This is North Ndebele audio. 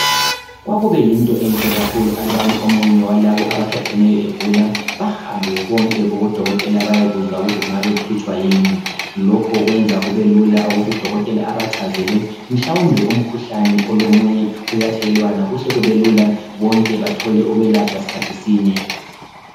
Kwakube yinto enhle kakhulu alubani omunye walaba abathatheneyo egula bahambe bonke kubo dokotela bayekuzwa ukuthi kungabe kuhlutshwa yini lokho kwenza kube lula ukuthi udokotela abachazele mhlawumbe umkhuhlane olomunye uyathelelwana kuhle kube lula bonke bathole ukwelatshwa sikhathi sinye.